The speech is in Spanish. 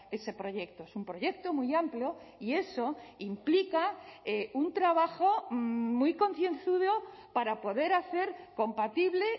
ese proyecto es un proyecto muy amplio y eso implica un trabajo muy concienzudo para poder hacer compatible